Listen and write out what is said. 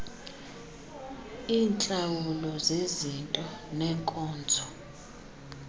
iintlawulo zezinto neenkonzo